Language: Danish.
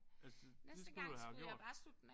Altså det skulle du da have gjort